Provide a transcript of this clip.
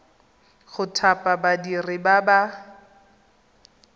go thapa badiri ba ba